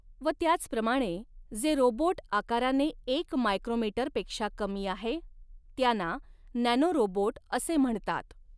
व त्याच प्रमाणे जे रोबोट् आकाराने एक मायक्रोमीटर पेक्षा कमी आहे त्याना नॅनोरोबोट असे म्हणतात.